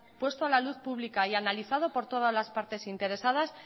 puesto a la luz pública y analizado por todas las partes interesadas